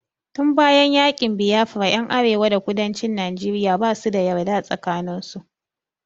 Tun bayan yaƙin Biafra ƴan arewa da kudancin Najeriya basu da yarda tsakanin su.